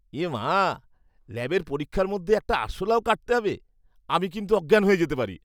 এ মা! ল্যাবের পরীক্ষার মধ্যে একটা আরশোলাও কাটতে হবে। আমি কিন্তু অজ্ঞান হয়ে যেতে পারি।